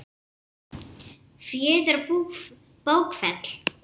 Fjöður og bókfell